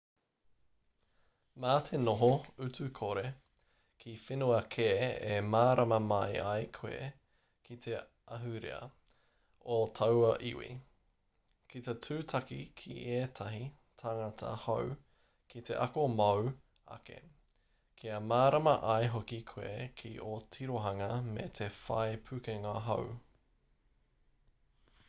mā te noho utu-kore ki whenua kē e mārama mai ai koe ki te ahurea o taua iwi ki te tūtaki ki ētahi tāngata hou ki te ako mōu ake kia mārama ai hoki koe ki o tirohanga me te whai pukenga hou